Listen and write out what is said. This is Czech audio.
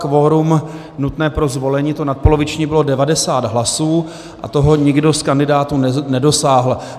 Kvorum nutné pro zvolení, to nadpoloviční, bylo 90 hlasů a toho nikdo z kandidátů nedosáhl.